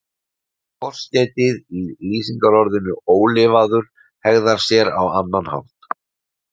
Forskeytið í lýsingarorðinu ólifaður hegðar sér á annan hátt.